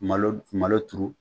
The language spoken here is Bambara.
Malo malo turu